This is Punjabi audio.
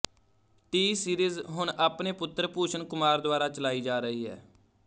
ਟੀਸੀਰੀਜ਼ ਹੁਣ ਆਪਣੇ ਪੁੱਤਰ ਭੂਸ਼ਨ ਕੁਮਾਰ ਦੁਆਰਾ ਚਲਾਈ ਜਾ ਰਹੀ ਹੈ